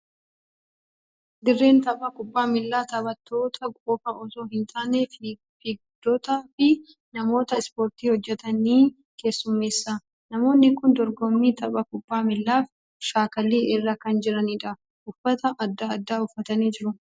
Dirreen tapha kubbaa miilaa taphattoota qofaa osoo hin taane, fiigdotaa fi namoota ispoortii hojjetan ni keessummeessa. Namoonni kun dorgommii tapha kubbaa miilaaf shaakallii irra kan jirani dha. Uffata adda addaa uffatanii jiru.